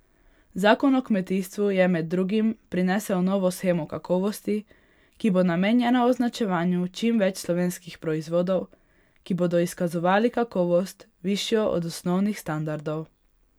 Zakon o kmetijstvu je med drugim prinesel novo shemo kakovosti, ki bo namenjena označevanju čim več slovenskih proizvodov, ki bodo izkazovali kakovost, višjo od osnovnih standardov.